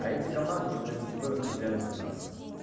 а эти команды уже между собой распределяют террасы